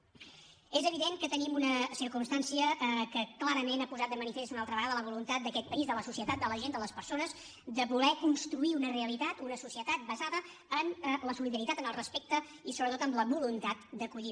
és evident que tenim una circumstància que clarament ha posat de manifest una altra vegada la voluntat d’aquest país de la societat de la gent de les persones de voler construir una realitat una societat basada en la solidaritat en el respecte i sobretot en la voluntat d’acollir